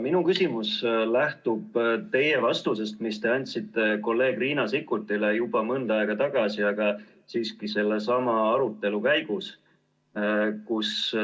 Minu küsimus lähtub vastusest, mille te andsite kolleeg Riina Sikkutile juba mõnda aega tagasi sellesama arutelu käigus.